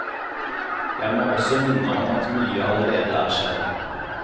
Jeg må også minne om at mye allerede er skjedd.